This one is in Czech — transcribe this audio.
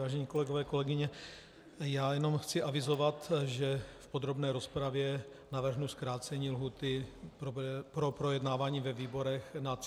Vážené kolegové, kolegyně, já jenom chci avizovat, že v podrobné rozpravě navrhnu zkrácení lhůty pro projednávání ve výborech na 30 dnů.